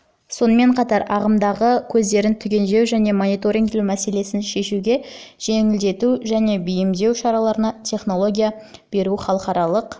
сонымен қатар ағымдары мен көздерін түгендеу және мониторингтеу мәселелерін шешуге жеңілдету және бейімдеу шараларына технология беру халықаралық